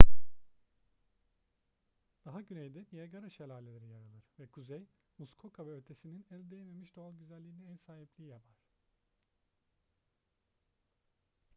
daha güneyde niagara şelaleri yer alır ve kuzey muskoka ve ötesinin el değmemiş doğal güzelliğine ev sahipliği yapar